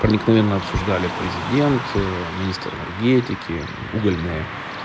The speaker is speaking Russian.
проникновенно обсуждали президент министр энергетики и угольной